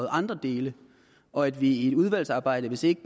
andre dele og at vi i et udvalgsarbejde hvis ikke